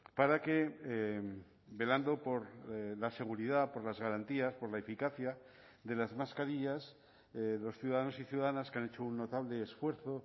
para que velando por la seguridad por las garantías por la eficacia de las mascarillas los ciudadanos y ciudadanas que han hecho un notable esfuerzo